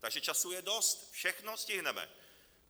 Takže času je dost, všechno stihneme!